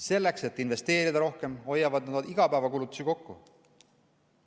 Selleks, et investeerida rohkem, hoiavad nad igapäevakulutusi kokku.